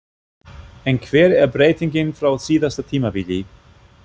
En hver er breytingin frá síðasta tímabili?